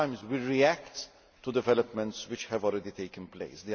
Sometimes we react to developments which have already taken place.